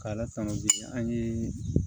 K'a la tanu bi an ye